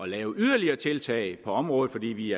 lave yderligere tiltag på området fordi vi